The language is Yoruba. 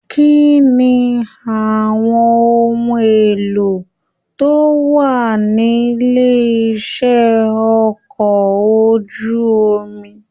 Kínní àwọn ohùn èlò tó wà nílé iṣẹ ọkọ̀ ojú omi?